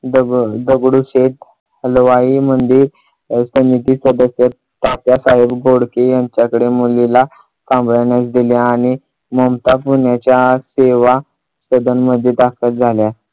दगड दगडूशेठ हलवाई मंदिर कमिटी सदस्य तात्यासाहेब बोडके यांच्याकडे मुलीला सांभाळण्यास दिले आणि ममता पुण्याच्या सेवा सदन मध्ये दाखल झाल्या.